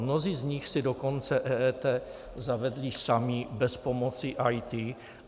Mnozí z nich si dokonce EET zavedli sami bez pomoci IT.